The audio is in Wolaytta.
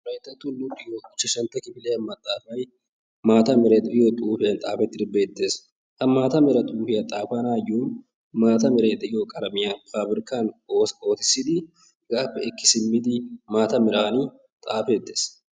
Wolayttatto luxiyo ichchashantta kifiliya maxxaafay Maata Meray de'iyo xuufiyan xaafettidi beettees. Ha maata Mera xuufiyan xaafanaayyo maata meray de'iyo qalamiyan faabrikkan ootissidi hegaappe ekki simmidi maata meran xaafeettees.